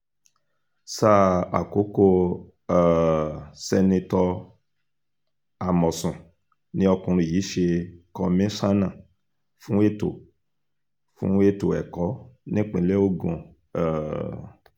sáà àkókò um sẹ́nitọ́ àmọ̀sùn ni ọkùnrin yìí ṣe kọmíṣánná fún ètò fún ètò ẹ̀kọ́ nípínlẹ̀ ogun um